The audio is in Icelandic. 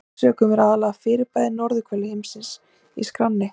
Af þeim sökum eru aðallega fyrirbæri á norðurhveli himins í skránni.